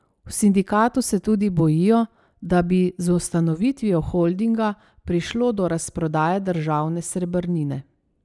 V sindikatu se tudi bojijo, da bi z ustanovitvijo holdinga prišlo do razprodaje državne srebrnine.